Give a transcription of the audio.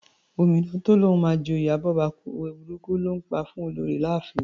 Omidan tó lóun máa jẹ oyè abọ́bakú, òwe burúkù ló ńpa fún Olorì láàfin.